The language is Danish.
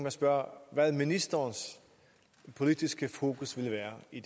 at spørge hvad ministerens politiske fokus vil være i